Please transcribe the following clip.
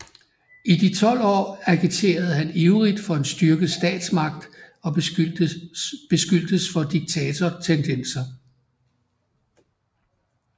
I de 12 år agiterede han ivrigt for en styrket statsmagt og beskyldtes for diktatortendenser